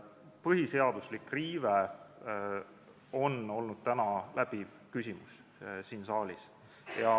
Põhiseaduslik riive on olnud täna läbiv küsimus siin saalis.